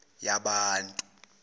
yabantu